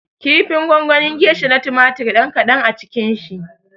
Kifin gongonin gesha na tumatir ɗan kaɗan a cikin shi